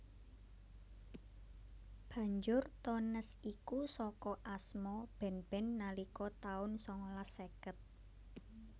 Banjur Tones iku saka asma band band nalika taun sangalas seket